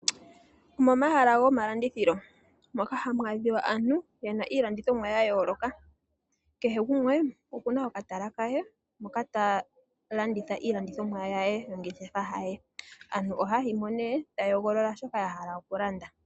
Momahala gomalandithilo ohamu adhika aantu taya landitha iinima yayooloka. Kehe gumwe okuna okatala ke moka talanditha iilandithomwa niinima ye. Aantu ohaya yi mo taya hogolola shoka ya hala okulanda.